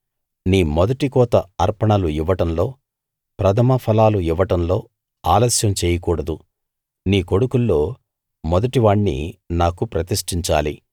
నీ మొదటి కోత అర్పణలు ఇవ్వడంలో ప్రథమ ఫలాలు ఇవ్వడంలో ఆలస్యం చేయకూడదు నీ కొడుకుల్లో మొదటివాణ్ణి నాకు ప్రతిష్టించాలి